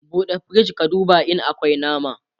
ɓuɗe firij ka duba in akwi nama!